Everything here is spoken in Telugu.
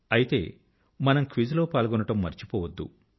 అయితే మనం క్విజ్ లో పాల్గొనడం మరచిపోవద్దు